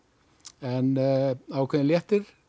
en ákveðinn léttir